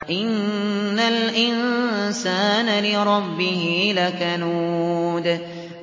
إِنَّ الْإِنسَانَ لِرَبِّهِ لَكَنُودٌ